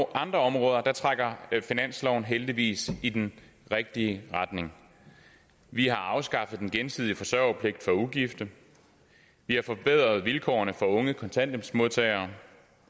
andre områder trækker finansloven heldigvis i den rigtige retning vi har afskaffet den gensidige forsørgerpligt for ugifte vi har forbedret vilkårene for unge kontanthjælpsmodtagere